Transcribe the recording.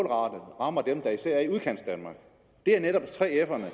rammer dem der især er i udkantsdanmark det er netop 3f’erne